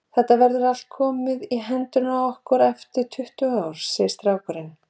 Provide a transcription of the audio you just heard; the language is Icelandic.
Þetta verður allt komið í hendurnar á okkur eftir tuttugu ár, segir strákurinn.